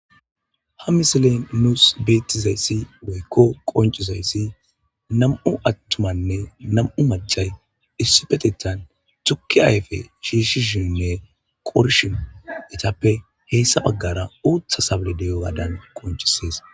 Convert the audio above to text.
ha misilen nuus beetizayssi woykko qoncizayssi nam7u attumanne nam7u macay issupetettan tukki ayfe shiishishinnne qorshin etappe heyssa baggara uutha sable deyo gaadan qoncisees